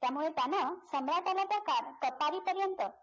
त्यामुळे त्यानं सम्राटाला तर कट्यारीपर्यंत